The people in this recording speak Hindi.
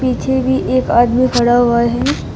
पीछे भी एक आदमी खड़ा हुआ है।